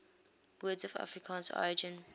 words of afrikaans origin